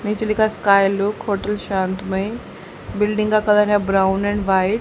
नीचे लिखा है। स्काई लुक होटल शांतमय बिल्डिंग का कलर है ब्राउन एंड व्हाइट ।